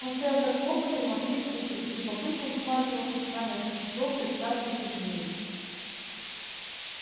он стоял как вкопанный навострив уши и с любопытством всматривался в странное существо представшее перед ним